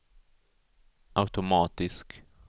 automatisk